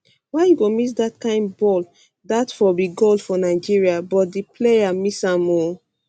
why you go miss dat kain balldat for be goal for nigeria but di um player um miss am ooooo